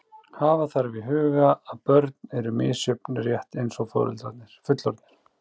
Hafa þarf í huga að börn eru misjöfn rétt eins og fullorðnir.